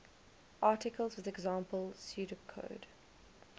articles with example pseudocode